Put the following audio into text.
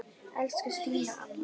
Elsku Stína amma.